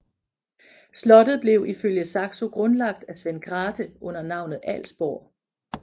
Slottet blev ifølge Saxo grundlagt af Svend Grathe under navnet Alsborg